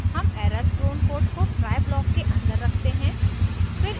हम error prone code को try block के अंदर रखते हैं